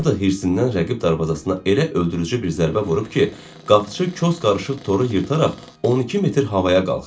O da hirsindən rəqib darvazasına elə öldürücü bir zərbə vurub ki, qapıçı kos qarışıq toru yırtaraq 12 metr havaya qalxıb.